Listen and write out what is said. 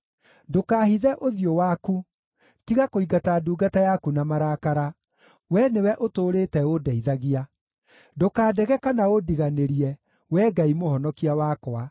Ndũkaahithe ũthiũ waku, tiga kũingata ndungata yaku na marakara; Wee nĩwe ũtũũrĩte ũndeithagia. Ndũkandege kana ũndiganĩrie, Wee Ngai Mũhonokia wakwa.